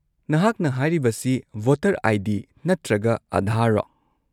-ꯅꯍꯥꯛꯅ ꯍꯥꯢꯔꯤꯕꯁꯤ voter ID. ꯅꯠꯇ꯭ꯔꯒ ꯑꯥꯙꯥꯔꯔꯣ?